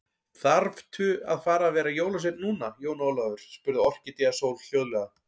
Þaðrftu að fara að vera jólasveinn núna, Jón Ólafur, spurði Orkídea Sól hljóðlega.